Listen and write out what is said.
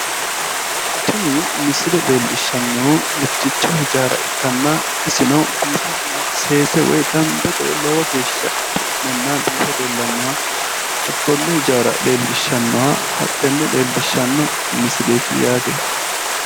Tini misile leellishshannohu mitticho ijaara ikkanna isino biifenna seese woyi dambete woyi lowo geeshsha xu'me biife leellannoha hakkonne ijaara leellishshannoha hattenne leellishshanno misileeti yaate.